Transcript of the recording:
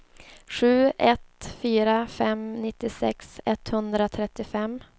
sju ett fyra fem nittiosex etthundratrettiofem